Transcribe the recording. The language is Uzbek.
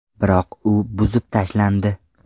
Biroq u buzib tashlandi.